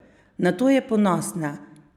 Na to je ponosna!